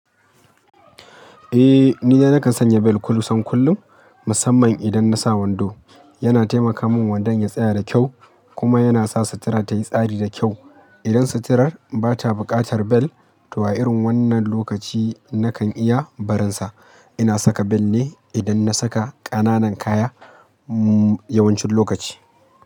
Eh, nina nakan sanya bell kusan kullum, musamman idan na sa wando. Yana taimaka min wandon ya tsaya da kyau kuma yana sa sutura ta yi tsari da kyau. Idan suturar ba ta buƙatar bel, to a irin wannan lokaci na kan iya barinsa. Ina saka bel ne idan na saka ƙananan kaya yawancin lokaci.